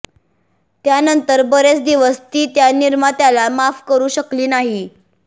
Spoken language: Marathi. त्यांनंतर बरेच दिवस ती त्या निर्मात्याला माफ करू शकली नाही